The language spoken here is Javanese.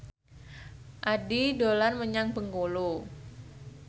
Addie dolan menyang Bengkulu